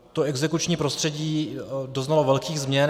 To exekuční prostředí doznalo velkých změn.